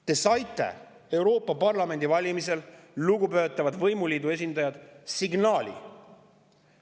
Te saite Euroopa Parlamendi valimistel, lugupeetavad võimuliidu esindajad, signaali.